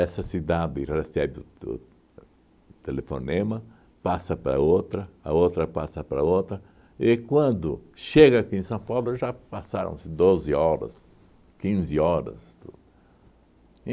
cidade recebe o to o telefonema, passa para outra, a outra passa para outra, e quando chega aqui em São Paulo já passaram-se doze horas, quinze horas, tudo.